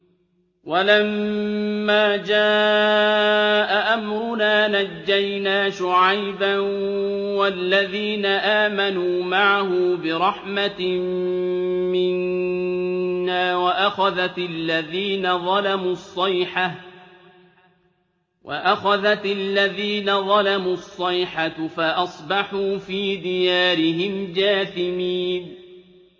وَلَمَّا جَاءَ أَمْرُنَا نَجَّيْنَا شُعَيْبًا وَالَّذِينَ آمَنُوا مَعَهُ بِرَحْمَةٍ مِّنَّا وَأَخَذَتِ الَّذِينَ ظَلَمُوا الصَّيْحَةُ فَأَصْبَحُوا فِي دِيَارِهِمْ جَاثِمِينَ